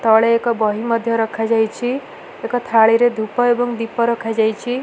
ତଳେ ଏକ ବହି ମଧ୍ୟ ରଖାଯାଇଛି ଏକ ଥାଳିରେ ଧୂପ ଏବଂ ଦୀପ ରଖାଯାଇଛି।